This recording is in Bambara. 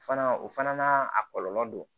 Fana o fana n'a a kɔlɔlɔ don